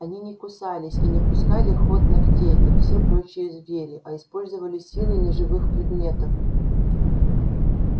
они не кусались и не пускали в ход ногтей как все прочие звери а использовали силы неживых предметов